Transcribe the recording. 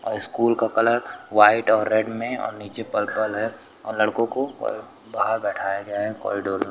अ school का colour white और red में और नीचे पर्पल है और लड़कों को अ वहां बिठाया गया है कॉरिडोर में।